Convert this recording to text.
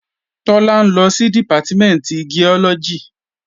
Tọ́lá ń lọ sí Dìpátímẹ̀ntì Giọ́lọ́gì